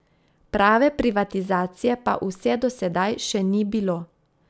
Prave privatizacije pa vse do sedaj še ni bilo.